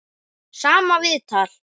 Sama viðtal.